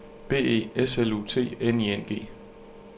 B E S L U T N I N G